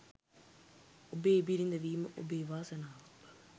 ඔබේ බිරිඳ වීම ඔබේ වාසනාවක් බව